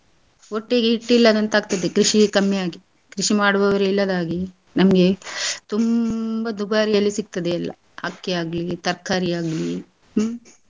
ಹೊಟ್ಟಿಗೆ ಹಿಟ್ ಇಲ್ಲದಂತಾಗ್ತದೆ ಕೃಷಿ ಕಮ್ಮಿ ಆಗಿ. ಕೃಷಿ ಮಾಡುವವರು ಇಲ್ಲದಾಗಿ ನಮ್ಗೆ ತುಂಬಾ ದುಬಾರಿಯಲ್ಲಿ ಸಿಗ್ತದೆ ಎಲ್ಲ ಅಕ್ಕಿ ಯಾಗ್ಲಿ ತರ್ಕಾರಿಯಾಗ್ಲಿ ಹ್ಮ್.